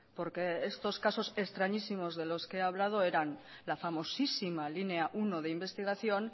porque estos casos extrañísimos de los que ha hablado eran la famosísima línea uno de investigación